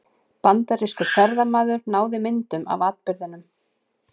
Bandarískur ferðamaður náði myndum af atburðinum